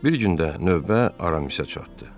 Bir gün də növbə Aramisə çatdı.